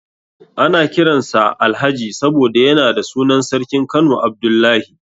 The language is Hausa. Ana kiran sa Alhaji saboda yana da sunan sarkin Kano Abdullahi.